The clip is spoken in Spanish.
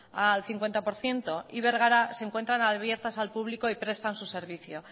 al cincuenta por ciento y bergara se encuentran abiertas al público y prestan su servicio